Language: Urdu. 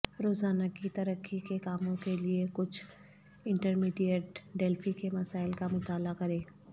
روزانہ کی ترقی کے کاموں کے لئے کچھ انٹرمیڈیٹ ڈیلفی کے مسائل کا مطالعہ کریں